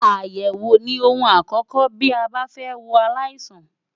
Àyẹ̀wò ni ohun àkókò bí a bá fẹ́ wo aláìsàn.